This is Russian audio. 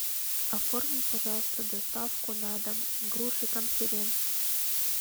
оформи пожалуйста доставку на дом груши конференц